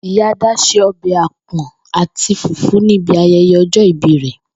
Ìyá Adá se o̩bè̩ àpò̩n àti fùfú ní bi aye̩ye̩ o̩jó̩ ìbí rè